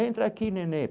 Entra aqui, nenê.